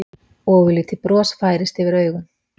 Ofurlítið bros færist yfir augun.